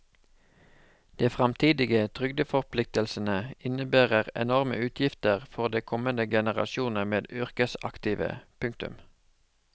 De fremtidige trygdeforpliktelsene innebærer enorme utgifter for de kommende generasjoner med yrkesaktive. punktum